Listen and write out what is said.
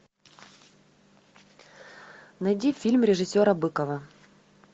найди фильм режиссера быкова